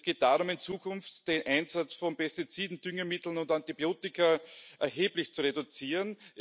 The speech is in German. Es geht darum, in Zukunft den Einsatz von Pestiziden, Düngemitteln und Antibiotika erheblich zu reduzieren.